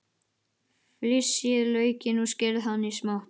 Flysjið laukinn og skerið hann smátt.